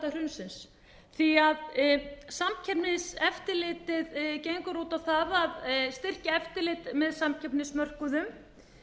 væri í spilunum í aðdraganda hrunsins því að samkeppniseftirlitið gengur út á það að styrkja eftirlit með samkeppnismörkuðum